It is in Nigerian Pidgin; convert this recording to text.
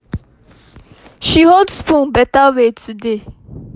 she hold spoon better way today